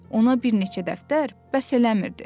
ona bir neçə dəftər bəs eləmirdi.